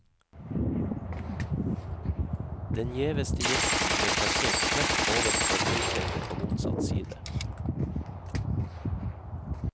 Den gjeveste gjesten ble plassert rett ovenfor høysetet på motsatt side.